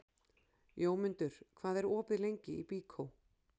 Jómundur, hvað er opið lengi í Byko?